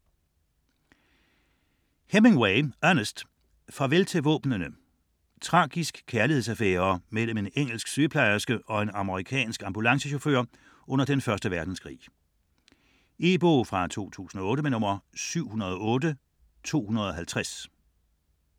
Hemingway, Ernest: Farvel til våbnene Tragisk kærlighedsaffære mellem en engelsk sygeplejerske og en amerikansk ambulancechauffør under 1. verdenskrig. E-bog 708250 2008.